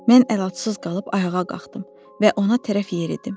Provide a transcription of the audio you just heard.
Mən əlacsız qalıb ayağa qalxdım və ona tərəf yeridim.